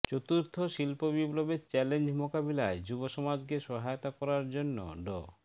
চতুর্থ শিল্পবিপ্লবের চ্যালেঞ্জ মোকাবিলায় যুব সমাজকে সহায়তা করার জন্য ড